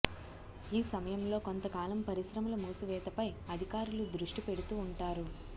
ఈ సమయంలో కొంతకాలం పరిశ్రమల మూసివేతపై అధికారులు దృష్టి పెడుతూ ఉంటారు